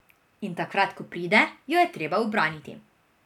In takrat ko pride, jo je treba ubraniti.